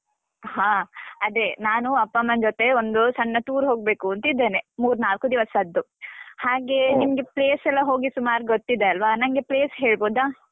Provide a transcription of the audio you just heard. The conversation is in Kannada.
ಹಾ, ಅದೇ ನಾನು ಅಪ್ಪಮ್ಮನ್ ಜೊತೆ ಒಂದು ಸಣ್ಣ tour ಹೋಗ್ಬೇಕೂಂತಿದ್ದೇನೆ, ಮೂರ್ನಾಲ್ಕು ದಿವಸದ್ದು. ಹಾಗೆಯೇ place ಎಲ್ಲ ಹೋಗಿ ಸುಮಾರು ಗೊತ್ತಿದೆ ಅಲ್ವ? ನಂಗೆ place ಹೇಳ್ಬೋದಾ?